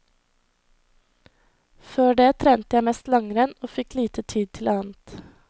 Før det trente jeg mest langrenn og fikk lite tid til annet.